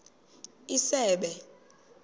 isebe